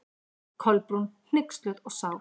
Kolbrún, hneyksluð og sár.